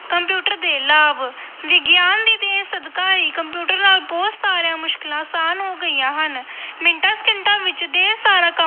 computer ਦੇ ਲਾਭ-ਵਿਗਿਆਨ ਦੀ ਦੇਣ ਸਦਕਾ ਹੀ ਕੰਪਿਊਟਰ ਨਾਲ ਬਹੁਤ ਸਾਰੀਆਂ ਮੁਸ਼ਕਲਾਂ ਆਸਾਨ ਹੋ ਗਈਆਂ ਹਨ ਮਿੰਟਾਂ ਸਕਿੰਟਾਂ ਵਿੱਚ ਢੇਰ ਸਾਰਾ